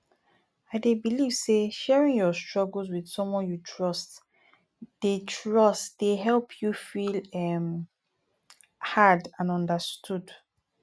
i dey believe say sharing your struggles with someone you trust dey trust dey help you feel um heard and understood